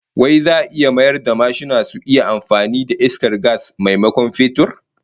Wai za'a mayar da mashina su iya amfani da iskar gas maimakon fetur?